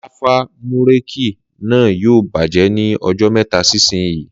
Láfà búrèkì náà yóò bàjẹ́ ní ọjọ́ mẹ́ta sí ìsín